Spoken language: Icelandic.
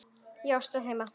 Já, stóð heima!